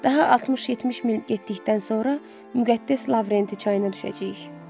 Daha 60-70 mil getdikdən sonra Müqəddəs Lavrenti çayına düşəcəyik.